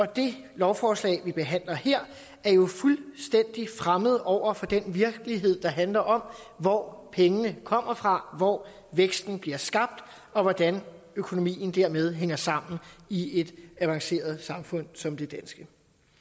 det lovforslag vi behandler her er jo fuldstændig fremmed over for den virkelighed der handler om hvor pengene kommer fra hvor væksten bliver skabt og hvordan økonomien dermed hænger sammen i et avanceret samfund som det danske